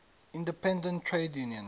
independent trade unions